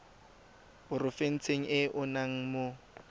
porofenseng e o nnang mo